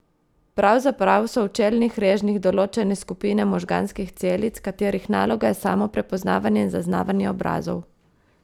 Pravzaprav so v čelnih režnjih določene skupine možganskih celic, katerih naloga je samo prepoznavanje in zaznavanje obrazov!